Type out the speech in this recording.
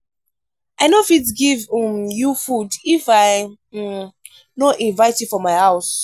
i no fit give um you food if i um no invite you for my house.